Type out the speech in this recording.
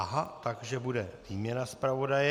Aha, takže bude výměna zpravodaje.